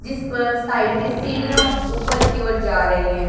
जिस पर साइड में सीढ़ियां ऊपर की ओर जा रही हैं।